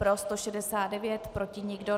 Pro 169, proti nikdo.